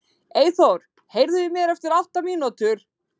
Eyþór, heyrðu í mér eftir átta mínútur.